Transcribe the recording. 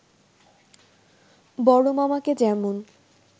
বড়মামাকে যেমন